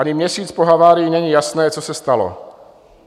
Ani měsíc po havárii není jasné, co se stalo.